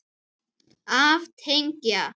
Af teig